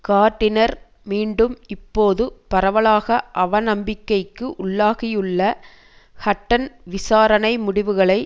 gardener மீண்டும் இப்போது பரவலாக அவநம்பிக்கைக்கு உள்ளாகியுள்ள ஹட்டன் விசாரணை முடிவுகளை